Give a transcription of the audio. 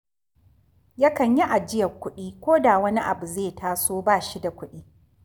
Yakan yi ajiyar kuɗi ko da wani abu zai taso bas hi da kuɗi